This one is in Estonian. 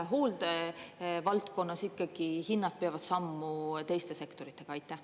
Või hooldevaldkonnas ikkagi hinnad peavad sammu teiste sektoritega?